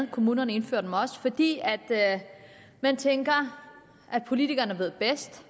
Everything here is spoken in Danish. kommunerne indfører dem også fordi man tænker at politikerne ved bedst